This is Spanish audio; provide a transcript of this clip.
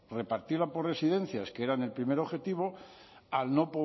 repartirla por residencias que eran el primer objetivo al no